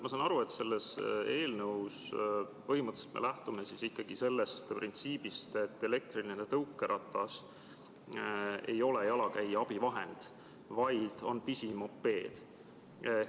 Ma saan aru, et selle eelnõu puhul me põhimõtteliselt lähtume ikkagi sellest printsiibist, et elektriline tõukeratas ei ole jalakäija abivahend, vaid on pisimopeed.